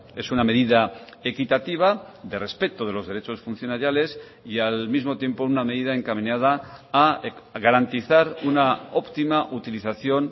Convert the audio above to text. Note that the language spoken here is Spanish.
es una medida equitativa de respeto de los derechos funcionariales y al mismo tiempo una medida encaminada a garantizar una optima utilización